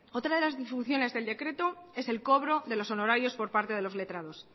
otra de las disfunciones del decreto es el cobro de los honorarios por parte de los letrados